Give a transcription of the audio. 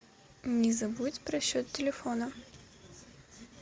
не забудь про счет телефона